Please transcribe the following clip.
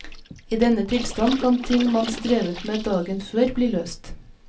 I denne tilstanden kan ting man strevet med dagen før bli løst.